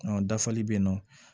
dafali bɛ yen nɔ